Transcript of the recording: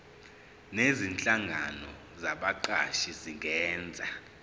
nezinhlangano zabaqashi zingenza